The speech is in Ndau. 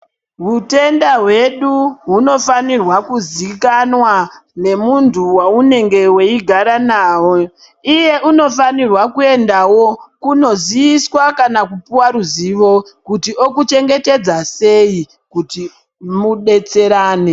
Hutenda hwedu hunofanirwa kuzikanwa nemuntu waunenge weigara naye iye unofanirwa kuendawo kunoziiswa kana kupuwa ruziwo kuti okuchengetedza sei kuti mudetserane.